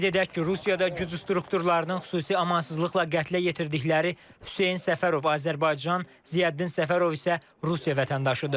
Qeyd edək ki, Rusiyada güc strukturlarının xüsusi amansızlıqla qətlə yetirdikləri Hüseyn Səfərov Azərbaycan, Ziyəddin Səfərov isə Rusiya vətəndaşıdır.